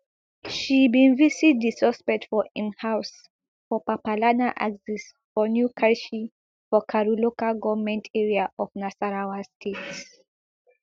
she bin visit di suspect for im house for papalana axis for new karshi for karu local goment area of nasarawa state